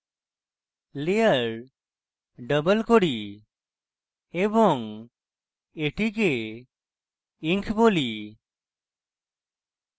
আমি layer double করি এবং এটিকে ink বলি